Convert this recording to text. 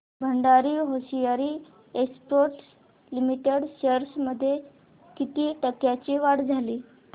Bhandari hosiery exports limited shares मध्ये किती टक्क्यांची वाढ झाली